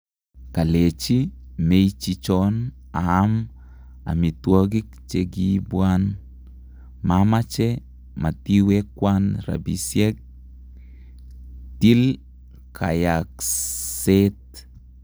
kalechi meichichon aam amitwagik chegi ipwan . Mamache , matiwekwan rapisieg , til kayaakseet